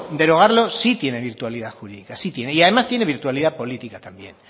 derogarlo sí tiene virtualidad jurídica y además tiene virtualidad política también